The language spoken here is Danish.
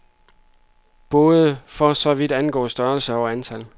Både for så vidt angik størrelse og antal.